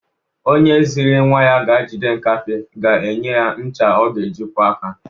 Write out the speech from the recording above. Onye zịrị nwa ya ga-jide nkapị ga-enye ya ncha ọ ga-eji kwọ aka.